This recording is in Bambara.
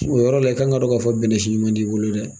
O yɔrɔ la i k'an k'a don k'a fɔ bɛnɛsi ɲuman t'i bolo dɛ